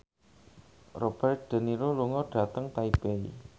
Robert de Niro lunga dhateng Taipei